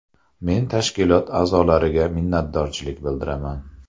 Men tashkilot a’zolariga minnatdorchilik bildiraman.